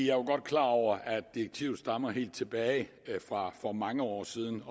er jo godt klar over at direktivet stammer helt tilbage fra for mange år siden